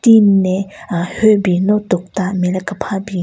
Tin ne ahh hyü bin no tokta nme le kepha bin.